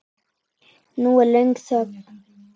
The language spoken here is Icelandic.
Nú er löng þögn.